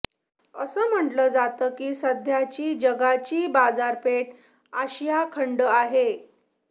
असं म्हटलं जातं की सध्याची जगाची बाजारपेठ आशिया खंड आहे